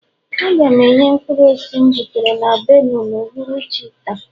ga na-enye mkpụrụ osisi m butere na Benue n'uhuruchi taa